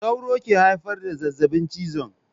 Sauro ke haifar da zazzabin cizon.